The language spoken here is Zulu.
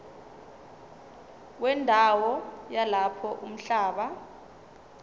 wendawo yalapho umhlaba